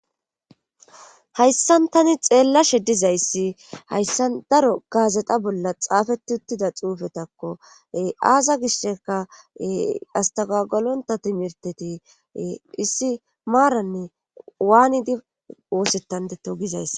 Hayssan tani xeellashe dizayssi hayssa daro gaazeta bolla xaafeti uttida xuufetakko aaza gisheka astagagalonta timirteti issi maaranne waanidi oosettandetto gizays